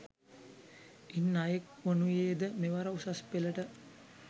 ඉන් අයෙක් වනුයේද මෙවර උසස්පෙළට